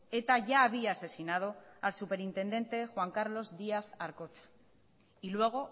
eta ya había asesinado al superintendente juan carlos díaz arkotxa y luego